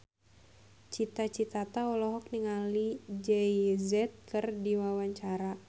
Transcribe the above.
Cita Citata olohok ningali Jay Z keur diwawancara